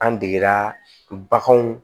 An degera baganw